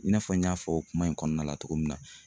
I n'a fɔ n y'a fɔ kuma in kɔnɔna la cogo min na